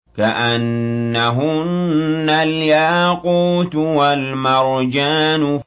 كَأَنَّهُنَّ الْيَاقُوتُ وَالْمَرْجَانُ